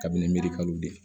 Kabini mirikalu de ye